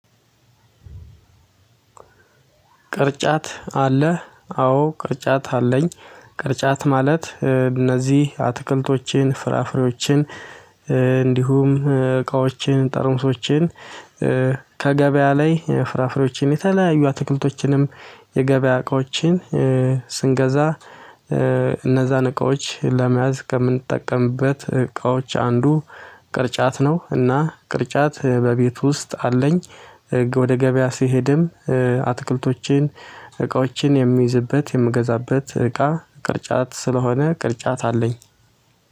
ቅርጫት አለ አዎ ቅርጫት አለኝ። ቅርጫት ማለት እነዚህ አትክልቶችን ፍራፍሬዎችን እንዲሁም እቃዎችን ጠርሙሶችን። ከገበያ ላይ ፍራፍሬዎችን የተለያዩ አትክልቶችንም የገበያ እቃዎችን ስንገዛ እነዛን እቃዎች ለመያዝ ከምንጠቀምበት እቃዎች አንዱ ቅርጫት ነው። እና ቅርጫት በቤቱ ውስጥ አለኝ። ወደ ገበያ ስሄድም አትክልቶቼን እቃዎቼን የሚይዝበት የምገዛበት እቃ ቅርጫት ስለሆነ ቅርጫት አለኝ።